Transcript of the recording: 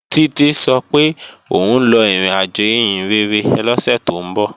Títí sọ pé òun lọ ìrìnàjò ìhìnrere lọ́sẹ̀ tó ń bọ̀